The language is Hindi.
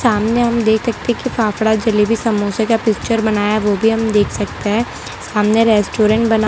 सामने हम देख सकते हैं कि फाफड़ा जलेबी समोसे का पिक्चर बनाया है ओ भी हम देख सकते हैं सामने रेस्टोरेंट बना--